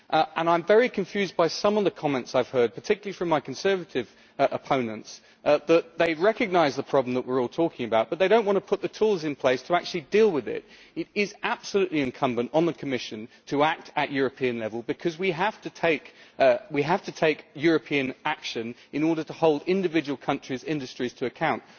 I am very confused by some of the comments I have heard particularly from my conservative opponents stating that they recognise the problem that we are all talking about, but they do not want to put the tools in place to actually deal with it. It is absolutely incumbent on the Commission to act at European level, because we have to take European action in order to hold individual countries' industries to account.